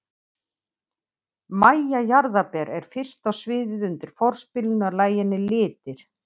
MÆJA JARÐARBER er fyrst á sviðið undir forspilinu að laginu Litir.